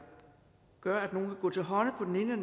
gøre at nogle vil gå til hånde på den ene